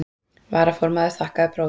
Varaformaður þakkaði próf.